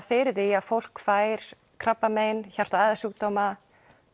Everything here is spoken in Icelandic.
fyrir því að fólk fær krabbamein hjarta og æðasjúkdóma